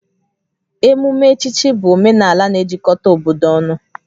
Emume echichi bụ omenala na-ejikọta obodo ọnụ